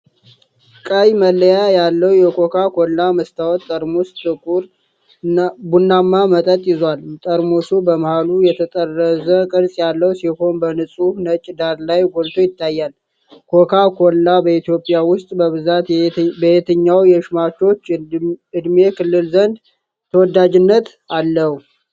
ቀይ መለያ ያለው የኮካ ኮላ መስታወት ጠርሙስ፣ ጥቁር ቡናማ መጠጥ ይዟል። ጠርሙሱ በመሃሉ የተጠረዘ ቅርጽ ያለው ሲሆን፣ በንጹህ ነጭ ዳራ ላይ ጎልቶ ይታያል። ኮካ ኮላ በኢትዮጵያ ውስጥ በብዛት በየትኛው የሸማቾች ዕድሜ ክልል ዘንድ ተወዳጅነት አለው?